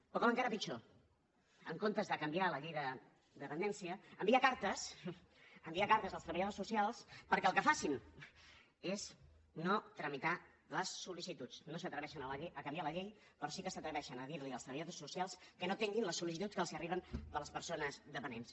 o com encara pitjor en comptes de canviar la llei de dependència envia cartes envia cartes als treballadors socials perquè el que facin sigui no tramitar les sol·llei però sí que s’atreveixen a dir los als treballadors socials que no atenguin les sol·licituds que els arriben de les persones dependents